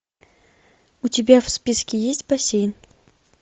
у тебя в списке есть бассейн